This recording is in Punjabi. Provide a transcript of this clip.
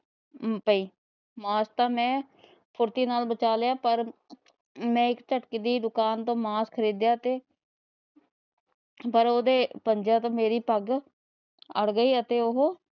ਅਮ ਪਈ ਮਾਸ ਤਾ ਮੈ ਫੁਰਤੀ ਨਾਲ ਬਚਾ ਲਿਆ ਪਰ ਮੈ ਇੱਕ ਝੱਟਕੇ ਦੀ ਦੁਕਾਨ ਵਿੱਚੋ ਮਾਸ ਖਰੀਦਿਆ ਅਤੇ ਪਰ ਉਹਦੇ ਪੰਜਿਆਂ ਤੋਂ ਮੇਰੀ ਪੱਗ ਅੜ ਗਈ ਅਤੇ ਉਹੋ